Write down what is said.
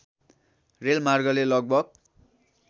rail मार्गले लगभग